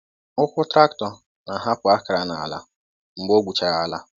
Ụkwụ traktọ na-ahapụ akara n’ala mgbe ọ gwuchara ala.